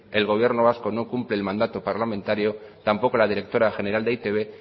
el gobierno vasco no cumple el mandato parlamentario tampoco la directora general de e i te be